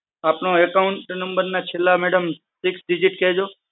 આપના account number ના madam છેલ્લા six digits કેજો